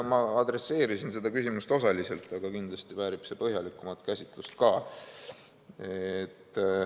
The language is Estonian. Ma adresseerisin seda küsimust osaliselt, aga kindlasti väärib see põhjalikumat käsitlust ka.